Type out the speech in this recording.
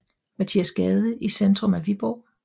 Mathias Gade i centrum af Viborg